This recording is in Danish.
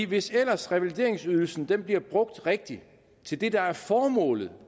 hvis ellers revalideringsydelsen bliver brugt rigtigt til det der er formålet